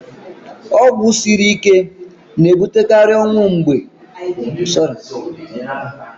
Ọgwụ siri ike na-ebutekarị ọnwụ mgbe ejiri ya mee ihe n'ụzọ na-ezighị ezi.